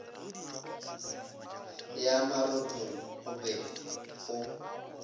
ya marothong go be go